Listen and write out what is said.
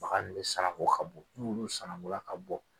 bɛ sananko ka bɔn n'olu sanankola ka bɔn